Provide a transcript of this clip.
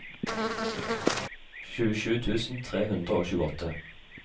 tjuesju tusen tre hundre og tjueåtte